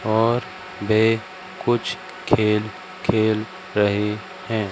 और वे कुछ खेल खेल रहे हैं।